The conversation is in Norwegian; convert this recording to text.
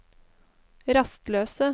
rastløse